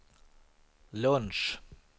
lunch